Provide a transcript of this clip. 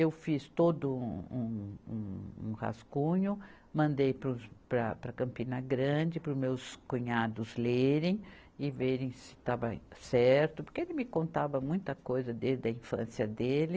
Eu fiz todo um, um, um rascunho, mandei para os, para, para Campina Grande, para os meus cunhados lerem e verem se estava certo, porque ele me contava muita coisa desde a infância dele.